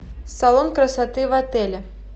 салон красоты в отеле